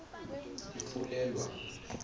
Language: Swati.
ifulelwa